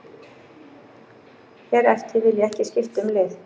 Hér eftir vil ég ekki skipta um lið.